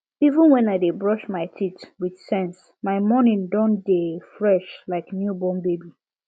even when i dey brush my teeth with sense my morning don dey fresh like new born baby